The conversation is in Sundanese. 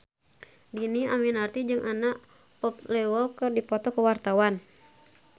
Dhini Aminarti jeung Anna Popplewell keur dipoto ku wartawan